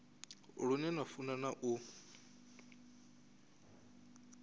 lune na funa na u